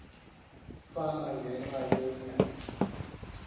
fama ngenxa yonyana